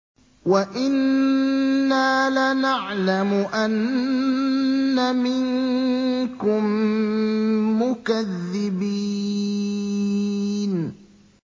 وَإِنَّا لَنَعْلَمُ أَنَّ مِنكُم مُّكَذِّبِينَ